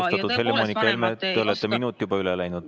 Austatud Helle-Moonika Helme, te olete juba terve minuti üle läinud.